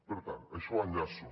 per tant això ho enllaço